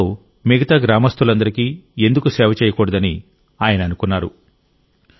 ఈ నీళ్లతో మిగతా గ్రామస్తులందరికీ ఎందుకు సేవ చేయకూడదని ఆయన అనుకున్నారు